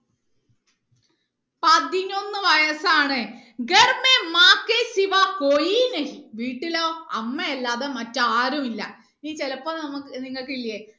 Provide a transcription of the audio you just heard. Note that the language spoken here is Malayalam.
പതിനൊന്ന് വയസാണ് വീട്ടിലോ അമ്മയല്ലാതെ മറ്റാരും ഇല്ല ഇനി ചിലപ്പോ നമുക്ക് നിങ്ങക്ക് ഇല്ലേ